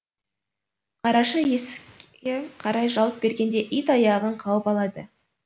қарақшы есікке қарай жалт бергенде ит аяғын қауып алады